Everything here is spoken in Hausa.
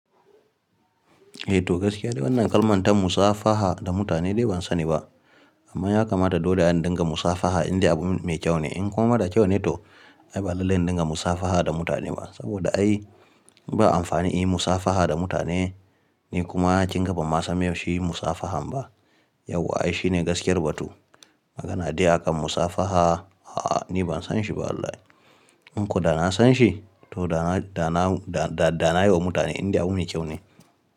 Eh to gaskiya de wannan kalman ta musafaha da mutane dai ban sani ba. Amma ya kamata dole a dinga musafaha inde abun mai kyau ne. In kuma marar kyau ne to ai ba lallai indinga musafaha da mutane ba. Saboda ai ba amfani inyi musafaha da mutane, ni kuma kinga ban ma san miye shi musafahan ba. Yauwa ai shine gaskiyar batu. Magana dai akan musafaha, a'a ni ban san shi ba wallahi. In ko da na san shi to da na, da na, da na yi wa mutane inda abu mai kyau ne.